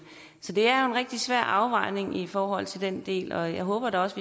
så det er jo en rigtig svær afvejning i forhold til den del og jeg håber da også